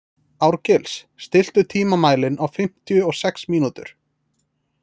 Árgils, stilltu tímamælinn á fimmtíu og sex mínútur.